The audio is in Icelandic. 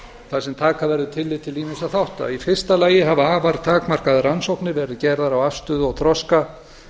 þar sem taka verður tillit til ýmissa þátta í fyrsta lagi hafa afar takmarkaðar rannsóknir verið gerðar á afstöðu og þroska